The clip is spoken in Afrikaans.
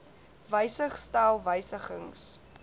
wysig stel wysigings